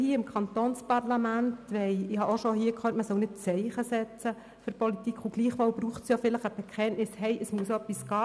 Ich habe auch schon gehört, man solle nicht Zeichen setzen seitens der Politik, und gleichwohl braucht es ein Bekenntnis, sodass etwas in Bewegung gesetzt wird.